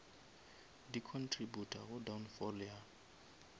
di contributa go downfall ya